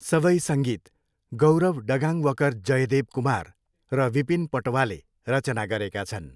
सबै सङ्गीत गौरव डगाङ्वकर जयदेव कुमार र विपिन पटवाले रचना गरेका छन्।